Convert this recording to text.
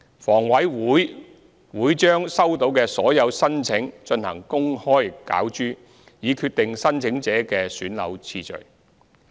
房委會會把收到的所有申請進行公開攪珠，以決定申請者的選樓次序。